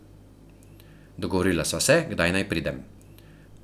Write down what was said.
Dogovorila sva se, kdaj naj pridem.